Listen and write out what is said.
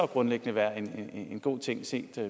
grundlæggende være en god ting set